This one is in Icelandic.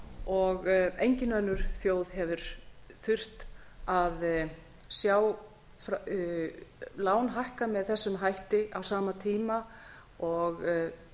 og engin önnur þjóð hefur þurft að sjá lán hækka með þessum hætti á sama tíma og